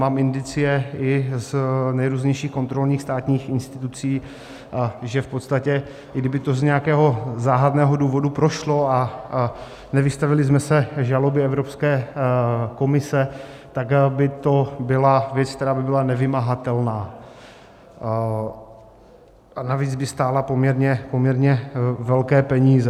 Mám indicie i z nejrůznějších kontrolních státních institucí, že v podstatě i kdyby to z nějakého záhadného důvodu prošlo a nevystavili jsme se žalobě Evropské komise, tak by to byla věc, která by byla nevymahatelná, a navíc by stála poměrně velké peníze.